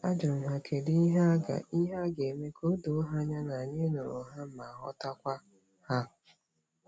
A jurum ha kedi ihe a ga- ihe a ga- eme ka odoo ha anya na anyi nuru ha ma ghotakwa ha.